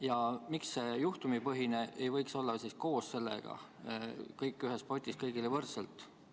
Ja miks see juhtumipõhine ei võiks olla koos sellega: kõik ühes potis, kõigile võrdselt?